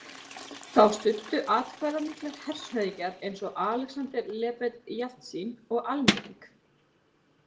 Þá studdu atkvæðamiklir hershöfðingjar eins og Alexander Lebed Jeltsín og almenning.